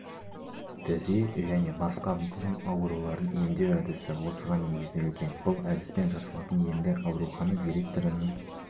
тізе және басқа буын аурауларын емдеу әдісі осыған негізделген бұл әдіспен жасалатын емді аурухана директорының